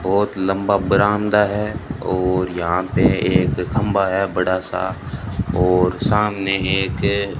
बहुत लंबा बरामदा है और यहां पे एक खंभा है बड़ा सा और सामने एक --